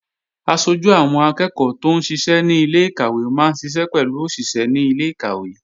Aṣojú àwọn akẹ́ẹ̀kọ́ tóún ṣiṣẹ́ ní ilé-ìkàwé máa ń ṣiṣẹ́ pẹ̀lú òṣìṣé ilé-ìkàwé